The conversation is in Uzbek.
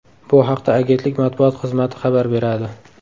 Bu haqda agentlik matbuot xizmati xabar beradi .